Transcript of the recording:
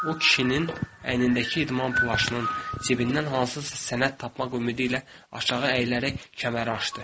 O kişinin əynindəki idman plaşının cibindən hansısa sənəd tapmaq ümidi ilə aşağı əyilərək kəməri açdı.